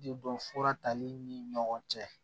Den dɔn fura tali ni ɲɔgɔn cɛ